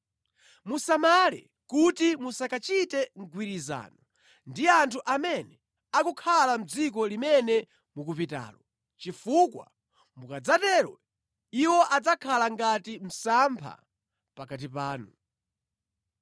Musamale kuti musakachite mgwirizano ndi anthu amene akukhala mʼdziko limene mukupitalo, chifukwa mukadzatero iwo adzakhala ngati msampha pakati panu.